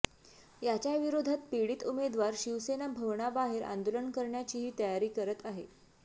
याच्याविरोधात पीडित उमेदवार शिवसेना भवनाबाहेर आंदोलन करण्याचीही तयारी करत आहे